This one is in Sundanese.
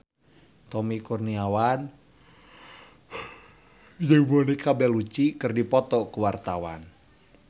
Tommy Kurniawan jeung Monica Belluci keur dipoto ku wartawan